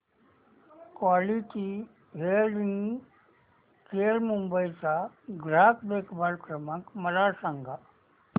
quality hearing care Mumbai चा ग्राहक देखभाल क्रमांक मला सांगा